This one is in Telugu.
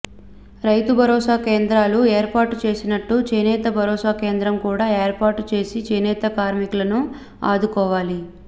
రైతు భరోసా కేంద్రాలు ఏర్పాటు చేసినట్టు చేనేత భరోసా కేంద్రం కూడా ఏర్పాటు చేసి చేనేత కార్మికులను ఆదుకోవాలి